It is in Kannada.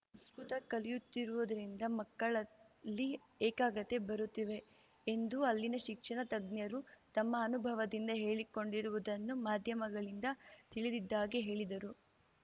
ಸಂಸ್ಕೃತ ಕಲಿಯುತ್ತಿರುವುದರಿಂದ ಮಕ್ಕಳಲ್ಲಿ ಏಕಾಗ್ರತೆ ಬರುತ್ತಿವೆ ಎಂದು ಅಲ್ಲಿನ ಶಿಕ್ಷಣ ತಜ್ಞರು ತಮ್ಮ ಅನುಭವದಿಂದ ಹೇಳಿಕೊಂಡಿರುವುದನ್ನು ಮಾಧ್ಯಮಗಳಿಂದ ತಿಳಿದಿದ್ದಾಗಿ ಹೇಳಿದರು